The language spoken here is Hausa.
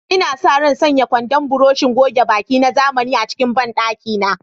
Ina sa ran sanya kwandon burushin goge baki na zamani a cikin bandakina.